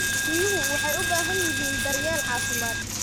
Riyuhu waxay u baahan yihiin daryeel caafimaad.